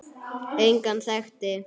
Engan þekkti